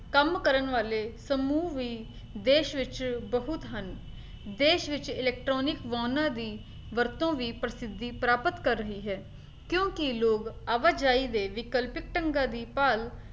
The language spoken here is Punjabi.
ਕੰਮ ਕਰਨ ਵਾਲੇ ਸਮੂਹ ਵੀ ਦੇਸ਼ ਵਿੱਚ ਬਹੁਤ ਹਨ ਦੇਸ਼ ਵਿੱਚ electronic ਵਾਹਨਾਂ ਦੀ ਵਰਤੋਂ ਵੀ ਪ੍ਰਸਿੱਧੀ ਪ੍ਰਾਪਤ ਕਰ ਰਹੀ ਹੈ, ਕਿਉਂਕਿ ਲੋਕ ਆਵਾਜਾਈ ਦੇ ਵਿਕਲਪ ਢੰਗਾਂ ਦੀ ਭਾਲ